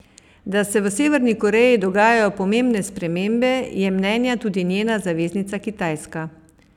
Da se v Severni Koreji dogajajo pomembne spremembe, je mnenja tudi njena zaveznica Kitajska.